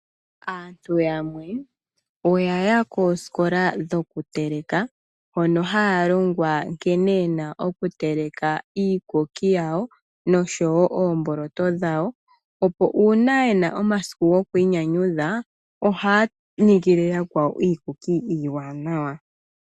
Aantu yamwe oya ya koosikola dhokuteleka, hono haya longwa nkene ye na okuteleka iikuki yawo noshowo oomboloto dhawo, nuuna ye na omasiku gokwiinyanyudha, ohaya ningele yakwawo iikuki iiwanawa.